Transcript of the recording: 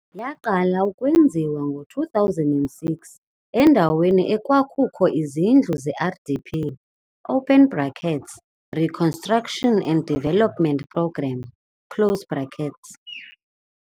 Yaqala ukwenziwa ngo 2006 endaweni ekwakukho izindlu ze RDP open brackets Reconstruction and Deveopment Program close brakets.